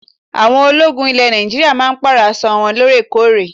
Àwọn ológun ilẹ̀ Nàìjíríà máa ń Pààrọ̀ aṣọ wọn lóorekóòrè